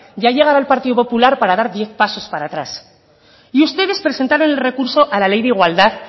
ya llegará el partido popular para dar diez pasos para atrás y ustedes presentaron el recurso a la ley de igualdad